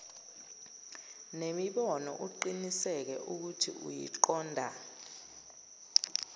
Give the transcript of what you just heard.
nemibono uqiniseke ukuthiuyiqonda